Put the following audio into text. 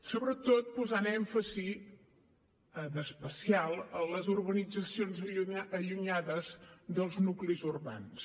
sobretot posant èmfasi en especial a les urbanitzacions allunyades dels nuclis urbans